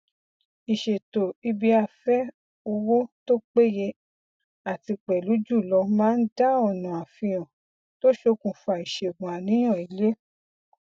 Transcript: ìṣètò ibiafẹ owó tó péye àti pẹlú jùlọ máa ń dá ọnà àfihàn tó ṣokùnfa iṣẹgun àníyàn ilé